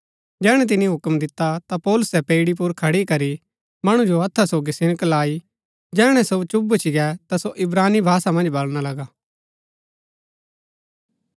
जैहणै तिनी हूक्म दिता ता पौलुसै पैईड़ी पुर खड़ी करी मणु जो हत्था सोगी सिनक लाई जैहणै सो चुप भूच्ची गै ता सो इब्रानी भाषा मन्ज बलणा लगा